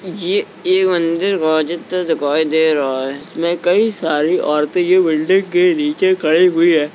ये मंदिर मजीद दिखाई दे रहा है और बहोत सारी औरते बिल्डिंग के नीचे खड़ी हुई है ।